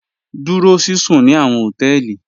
Dúró síṣún ní àwọn họtẹẹlì.